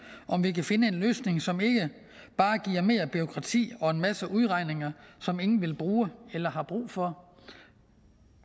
om vi kan finde en løsning som ikke bare giver mere bureaukrati og en masse udregninger som ingen vil bruge eller har brug for